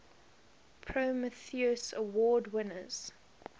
prometheus award winners